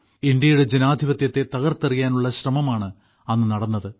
ഇന്ത്യയുടെ ജനാധിപത്യത്തെ തകർത്തെറിയാനുള്ള ശ്രമമാണ് അന്ന് നടന്നത്